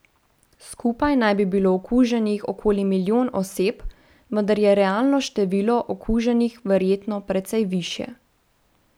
Skupaj naj bi bilo okuženih okoli milijon oseb, vendar je realno število okuženih verjetno precej višje.